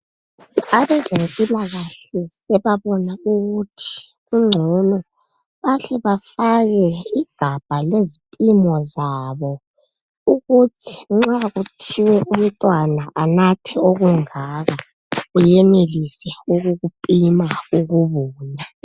Abezempilakahle sebabona ukuthi kungcono bahle bafake igabha lezipimo zabo ukuthi nxa kuthiwe umntwana anathe okungaka kuyenelise ukukupima ukubuvula.